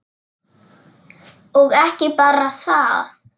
Og ekki bara það: